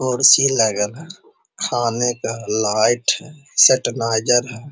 कुर्सी लगल है खाने का लाइट है सेटनाइजर है।